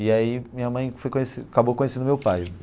E aí minha mãe foi conhecer acabou conhecendo meu pai.